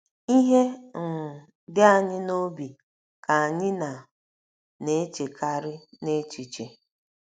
Ihe um di anyị n’obi ka anyị na - na - echekarị n’echiche.